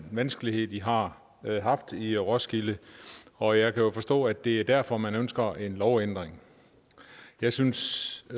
vanskeligheder de har haft i roskilde og jeg kan jo forstå at det er derfor man ønsker en lovændring jeg synes